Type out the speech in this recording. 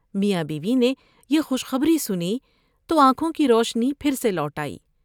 میاں بیوی نے یہ خوش خبری سنی تو آنکھوں کی روشنی پھر سے لوٹ آئی ۔